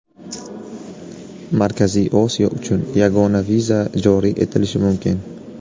Markaziy Osiyo uchun yagona viza joriy etilishi mumkin.